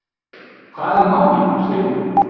Hvað er málið, segirðu?